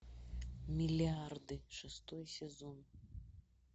миллиарды шестой сезон